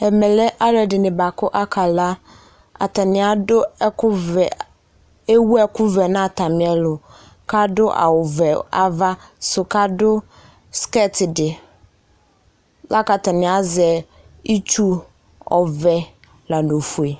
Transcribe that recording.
Ɛmɛ lɛ alɛde ne boako aka la, Atane ado ɛkuvɛ, ewu ekuvɛ na atame ɛlu kado awuvɛ ava so, kado skɛti de, la ka atane azɛ itsu ɔvɛ la no fue